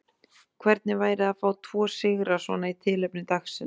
Hvernig væri að fá tvo sigra svona í tilefni dagsins?